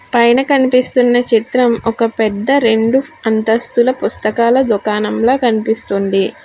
పైన కనిపిస్తున్న చిత్రం ఒక పెద్ద రెండు అంతస్తుల పుస్తకాల దుకాణంల కనిపిస్తుంది.